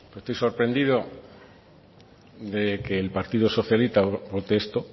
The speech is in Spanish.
estoy sorprendido de que el partido socialista vote esto